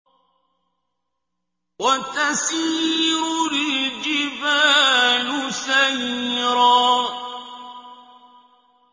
وَتَسِيرُ الْجِبَالُ سَيْرًا